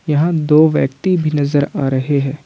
यहां दो व्यक्ति भी नजर आ रहे हैं।